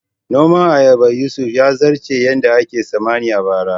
Noman ayabar Yusuf ya zarce yadda ake tsammani a bara